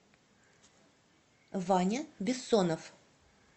ваня бессонов